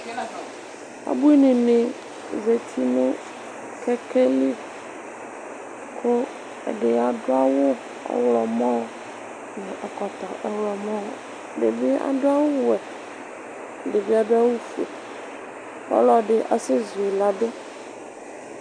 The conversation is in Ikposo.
Ubuini ni zati nʋ kɛkɛli kʋ ɛdi adʋ awʋ ɔɣlɔmɔ, nʋ ɛkɔtɔ ɔɣlɔmɔ Ɛdi bi adʋ awʋ wɛ, ɛdi bi adʋ awʋ fue, ɔlɔdi azɛ zu yi ladʋ